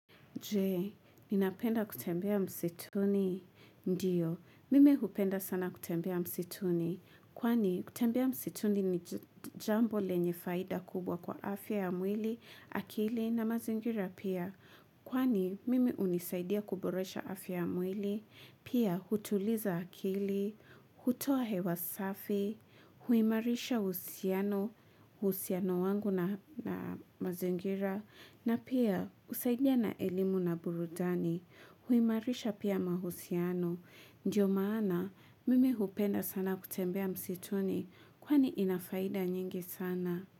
Je, ninapenda kutembea msituni. Ndiyo, mimi hupenda sana kutembea msituni. Kwani, kutembea msituni ni jambo lenye faida kubwa kwa afya ya mwili, akili na mazingira pia. Kwani, mimi unisaidia kuboresha afya ya mwili. Pia, hutuliza akili, hutoa hewa safi, huimarisha uhusiano, uhusiano wangu na mazingira. Na pia usaidia na elimu na burudani huimarisha pia mahusiano. Ndiyo maana mimi hupenda sana kutembea msituni kwani inafaida nyingi sana.